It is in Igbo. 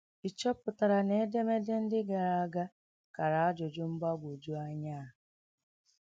Ị̀ chọ̀pụtara na edemede ndị gara aga kàrà ajụjụ mgbagwoju anya a?